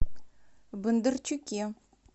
бондарчуке